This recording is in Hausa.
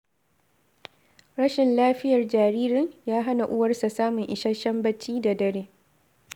Rashin lafiyar jaririn, ya hana uwarsa samun isasshen bacci da dare.